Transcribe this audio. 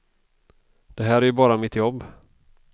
Det här är ju bara mitt jobb.